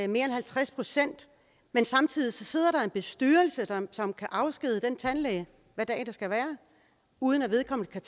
mere end halvtreds pct men samtidig sidder der en bestyrelse som kan afskedige den tandlæge hvad dag det skal være uden at vedkommende kan